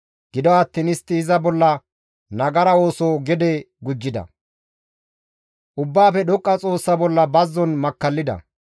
Gido attiin istti iza bolla nagara ooso gede gujjida; Ubbaafe Dhoqqa Xoossa bolla bazzon makkallida.